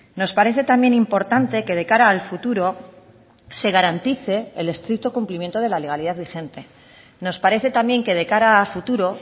nos parece también importante que de cara al futuro se garantice el estricto cumplimiento de la legalidad vigente nos parece también que de cara a futuro